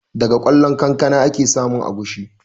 Daga ƙwallon kankana ake samun agushi